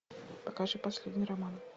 покажи последний роман